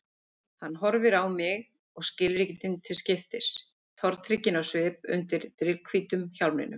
Hann horfir á mig og skilríkin til skiptis, tortrygginn á svip undir drifhvítum hjálminum.